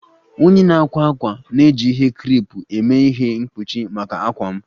Onye na-akwa akwa na-eji ihe creepe eme ihe mkpuchi maka akwa m